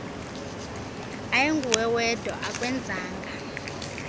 ayinguwe wedwa akwenzanga